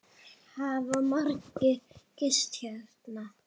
Hafa margir gist hérna?